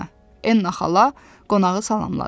Enna xala qonağı salamladı.